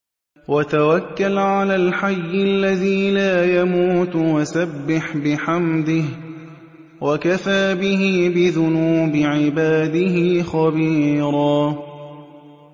وَتَوَكَّلْ عَلَى الْحَيِّ الَّذِي لَا يَمُوتُ وَسَبِّحْ بِحَمْدِهِ ۚ وَكَفَىٰ بِهِ بِذُنُوبِ عِبَادِهِ خَبِيرًا